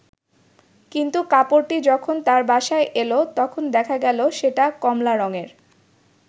কিন্তু কাপড়টি যখন তার বাসায় এল, তখন দেখা গেল সেটা কমলা রংয়ের।